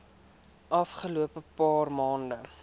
afgelope paar maande